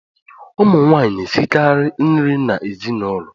Ụmụnwaanyị na-esikara nri n’ezinụlọ